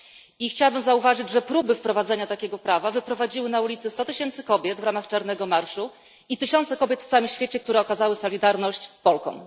I chciałabym zauważyć, że próby wprowadzenia takiego prawa wyprowadziły na ulice sto tysięcy kobiet w ramach czarnego marszu i tysiące kobiet na całym świecie, które okazały solidarność Polkom.